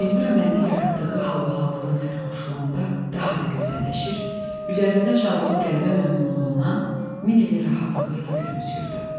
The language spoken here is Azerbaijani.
Elvira məndə yaratdığı halbahallığın sərxoşluğunda daha da gözəlləşir, üzərimdə çaldığı qələbə məmnunluğundan min ilin rahatlığı ilə gülümsüyürdü.